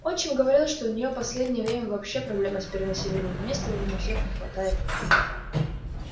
отчим говорил что у неё последнее время вообще проблема с перенаселением места уже на всех не хватает